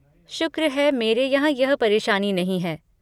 शुक्र है मेरे यहाँ यह परेशानी नहीं है।